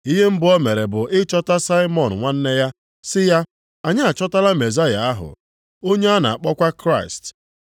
Ihe mbụ o mere bụ ịchọta Saimọn nwanne ya sị ya, “Anyị achọtala Mezaya ahụ” (onye a na-akpọkwa Kraịst).